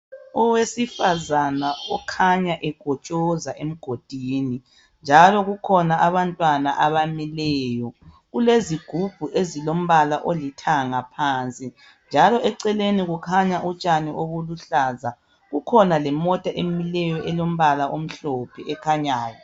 Owesifazana okhanya ekhotshoza amanzi. Njalo kukhona abantwana abamileyo, kulezigubhu ezilombala olithanga phansi. Njalo eceleni kukhanya utshani oluluhlaza kukhona lemota emileyo elombala omhlophe ekhanyayo.